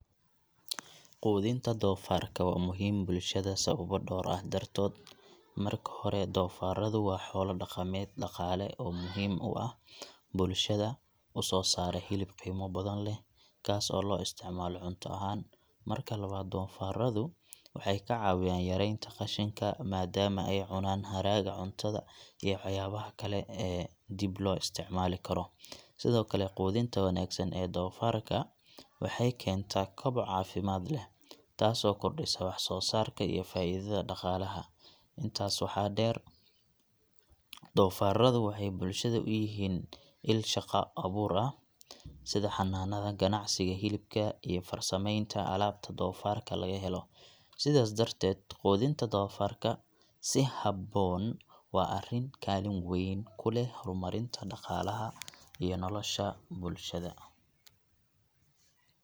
Quudinta doofaarka waa muhiim bulshada sawaba dhawr ah dartood . Marka hore, doofaarradu waa xoolo dhaqameed dhaqaale oo muhiim u ah bulshada u soo saara hilib qiimo badan leh, kaas oo loo isticmaalo cunto ahaan. Marka labaad, doofaarradu waxay ka caawiyaan yareynta qashinka, maadaama ay cunaan haraaga cuntada iyo waxyaabaha kale ee dib loo isticmaali karo. Sidoo kale, quudinta wanaagsan ee doofaarka waxay keentaa koboc caafimaad leh, taasoo kordhisa wax soo saarka iyo faa'iidada dhaqaalaha. Intaas waxaa dheer, doofaarradu waxay bulshada u yihiin il shaqo abuur, sida xanaanada, ganacsiga hilibka, iyo farsamaynta alaabta doofaarka laga helo. Sidaas darteed, quudinta doofaarka si habboon waa arrin kaalin weyn ku leh horumarinta dhaqaalaha iyo nolosha bulshada.